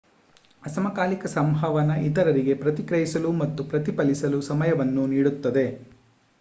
ಅಸಮಕಾಲಿಕ ಸಂವಹನ ಇತರರಿಗೆ ಪ್ರತಿಕ್ರಿಯಿಸಲು ಮತ್ತು ಪ್ರತಿಫಲಿಸಲು ಸಮಯವನ್ನು ನೀಡುತ್ತದೆ